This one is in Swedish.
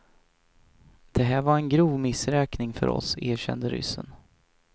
Det här var en grov missräkning för oss, erkände ryssen.